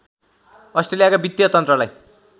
अस्ट्रेलियाका वित्तीय तन्त्रलाई